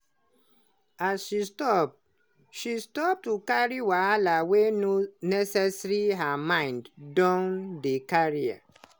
as she stop as she stop to carry wahala wey no necessary her mind don dey clearer.